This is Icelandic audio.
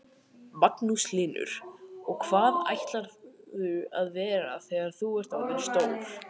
Magnús Hlynur: Og hvað ætlarðu að verða þegar þú ert orðin stór?